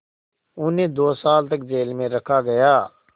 उन्हें दो साल तक जेल में रखा गया